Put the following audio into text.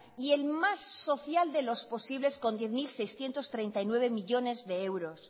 y el más social de los posibles con diez mil seiscientos treinta y nueve millónes de euros